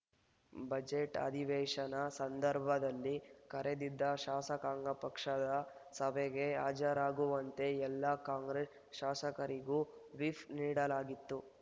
budget ಅಧಿವೇಶನ ಸಂದರ್ಭದಲ್ಲಿ ಕರೆದಿದ್ದ ಶಾಸಕಾಂಗ ಪಕ್ಷದ ಸಭೆಗೆ ಹಾಜರಾಗುವಂತೆ ಎಲ್ಲ ಕಾಂಗ್ರೆಸ್ ಶಾಸಕರಿಗೂ ವಿಫ್ ನೀಡಲಾಗಿತ್ತು